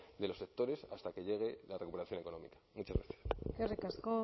de los sectores hasta que llegue la recuperación económica muchas gracias eskerrik asko